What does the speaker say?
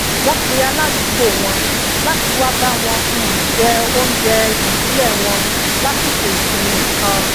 wón pe aládùúgbò wọn lati wá bá um wọn jẹ oúnjẹ ibile wọn lasiko isinmi kan